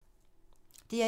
DR1